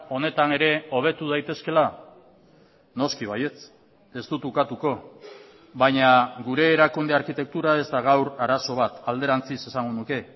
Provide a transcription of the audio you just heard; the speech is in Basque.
honetan ere hobetu daitezkeela noski baietz ez dut ukatuko baina gure erakunde arkitektura ez da gaur arazo bat alderantziz esango nuke